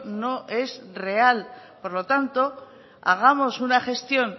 no es real por lo tanto hagamos una gestión